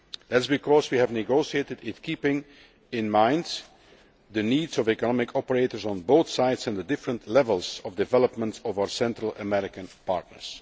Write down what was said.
That is because we negotiated it keeping in mind the needs of economic operators on both sides and the different levels of development of our Central American partners.